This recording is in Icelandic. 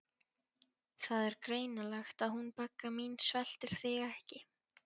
Það er greinilegt að hún Begga mín sveltir þig ekki.